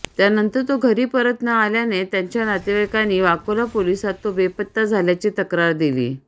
त्यानंतर तो घरी परत न आल्याने त्याच्या नातेवाइकांनी वाकोला पोलिसांत तो बेपत्ता झाल्याची तक्रार दिली